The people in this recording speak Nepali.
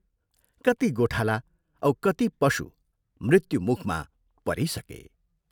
कति गोठाला औ कति पशु मुत्युमुखमा परिसके।